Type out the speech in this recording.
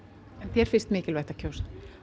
þér finnst mikilvægt að kjósa